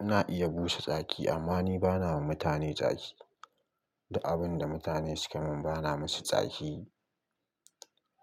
Na iya busa tsaki amma ni bana wa mutane tsaki. Duk abin da mutane suka mun bana musu tsaki